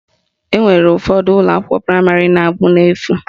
Enwere ụfọdụ ụlọakwụkwọ praịmarị na-abụ n'efu